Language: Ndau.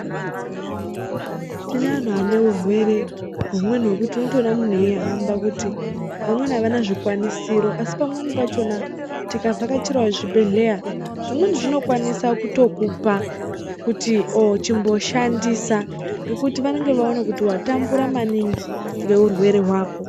Tine anhu ane urwere hwumweni hwekuti unotoona munhu eyihamba kuti vamweni avana zvikwanisiro asi pamweni pachona tikavhakachira zvibhedhlera zvimweni zvinokwanisa kutokupa kuti oo chimboshandisa ngekuti vanenge vaona kuti watambura maningi ngeurwere hwako.